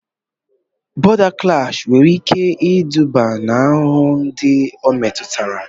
Bọ̀da klash nwere ike iduba n'ahụhụ ndị o metụtara